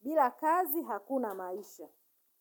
Bila kazi hakuna maisha.